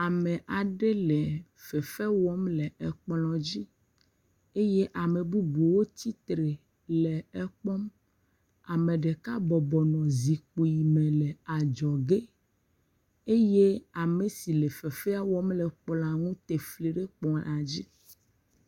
Ame aɖe le fefe wɔm le kplɔ dzi eye ame bubuwo tsitre le ekpɔm. Ame ɖeka bɔbɔ nɔ zipkui me le adzɔ ge eye ame si le fefea wɔm la, tefli ɖe kplɔ dzi.